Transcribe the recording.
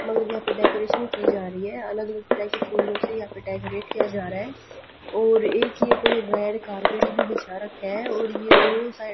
मतलब यहाँ पे डेकोरेशन की जा रही है अलग अलग तरह के फूलों से यहाँ पे डेकोरेट किया जा रहा है और एक ये कोई रेड कारपेट भी बिछा रखा है और ये दो सा --